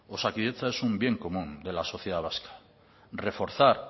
osakidetza es un bien común de la sociedad vasca reforzar